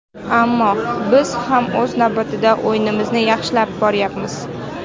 Ammo, biz ham o‘z navbatida o‘yinimizni yaxshilab boryapmiz.